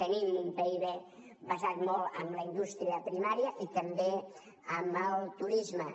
tenim un pib basat molt en la indústria primària i també en el turisme